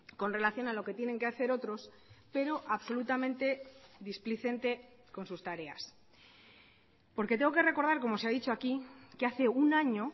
con relación a lo que tienen que hacer otros pero absolutamente displicente con sus tareas porque tengo que recordar como se ha dicho aquí que hace un año